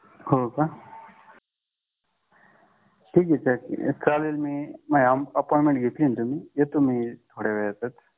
ठीक आहे चालेल तुम्ही माझी अपॉइंटमेंट घेतली आहे ना चालेल येतो थोड्या वेळात मी